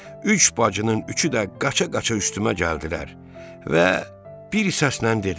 Üç bacının üçü də qaça-qaça üstümə gəldilər və bir səslə dedilər: